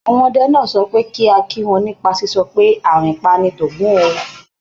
Àwọn ọdẹ náà sọ pé kí a kí wọn nípa sísọ pé "àrìnpa ni tògún o".